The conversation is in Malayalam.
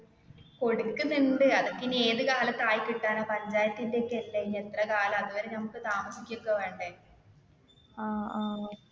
കൊടുക്കുന്നുണ്ട് അതൊക്കെ ഇനി ഏതു കാലത്ത് ആയി കിട്ടാനാ പഞ്ചായത്തിന്റെ ഒക്കെ അല്ലെ ഇനി എത്ര കാലോ അതുവരെ നമുക്ക് താമസിക്കോക്കെ വേണ്ടേ.